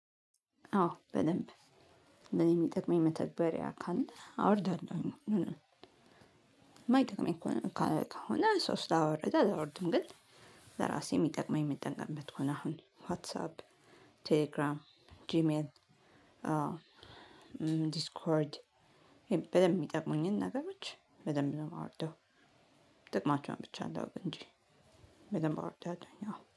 አዎ በደንብ እሚጠቅመኝ መተግበሪያ ካለ አወርዳለሁኝ። እማይጠቅመኝ ከሆነ ሰው ስላወረደ አላወርድም። ግን ለራሴ እሚጠቅመኝ እምጠቀምበት ከሆነ አሁን ዋትሳፕ ቴሌግራም ጂሚኤል ዲስኮርድ በደንብ የሚጠቅሙኝን ነገሮች በደንብ ነው የማወርደው። ጥቅማቸውን ብቻ ልወቅ እንጂ በደንብ አወርዳለሁኝ አዎ